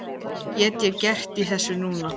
Hvað get ég gert í þessu núna?